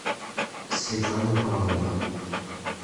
светлана павлова